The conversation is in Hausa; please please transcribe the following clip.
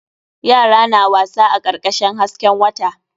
Yara na wasa a karkashin hasken wata.